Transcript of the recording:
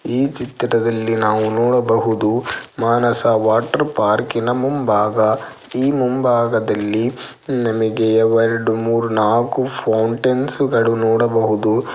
ಈ ಚಿತ್ರದಲ್ಲಿ ನಾವು ನೋಡಬಹುದು ಮಾನಸ ವಾಟರ್ ಪಾರ್ಕಿನ ಮುಂಭಾಗ ಈ ಮುಂಭಾಗದಲ್ಲಿ ಉಮ್ ನಮಿಗೆ ಎರಡು ಮೂರು ನಾಕು ಫೌಂಟೈನ್ಸ್ ಗಳು ನೋಡಬಹುದು.